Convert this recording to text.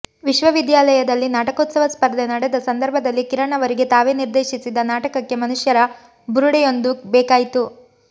ವಿಶ್ವವಿದ್ಯಾಲಯದಲ್ಲಿ ನಾಟಕೋತ್ಸವ ಸ್ಪರ್ಧೆ ನಡೆದ ಸಂದರ್ಭದಲ್ಲಿ ಕಿರಣ್ ಅವರಿಗೆ ತಾವೇ ನಿರ್ದೇಶಿಸಿದ ನಾಟಕಕ್ಕೆ ಮನುಷ್ಯರ ಬುರುಡೆಯೊಂದು ಬೇಕಾಯಿತು